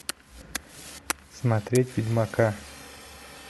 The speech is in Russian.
смотреть ведьмака